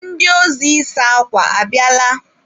Ndị ozi ịsa akwa a bịala?